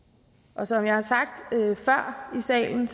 og som jeg har sagt før i salen